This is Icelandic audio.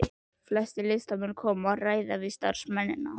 Flestir listamennirnir koma og ræða við starfsmennina.